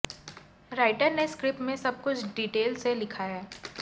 writer ने script में सब कुछ डिटेल से लिखा है